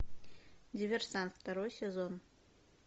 диверсант второй сезон